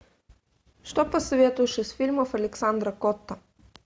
что посоветуешь из фильмов александра котта